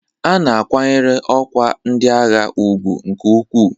A na-akwanyere ọkwa ndị agha ugwu nke ukwuu.